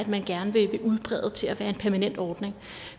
man gerne vil udbrede til at være en permanent ordning